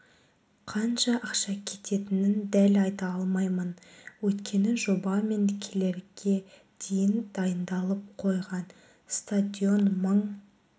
қанша ақша кететінін дәл айта алмаймын өйткені жоба мен келерге дейін дайындалып қойған стадион мың